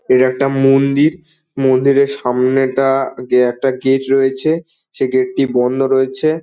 এটা একটা মন্দির মন্দিরের সামনেটা কে একটা গেট রয়েছে সেই গেট টি বন্ধ রয়েছে।